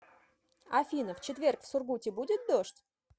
афина в четверг в сургуте будет дождь